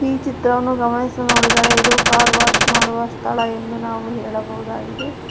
ಈ ಚಿತ್ರವನ್ನು ಗಮನಿಸಿ ನೋಡಿದರೆ ಇದು ಕಾರ್ ವಾಶ್ ಮಾಡುವ ಸ್ಥಳ ಎಂದು ನಾವು ಹೇಳಬಹುದಾಗಿದೆ.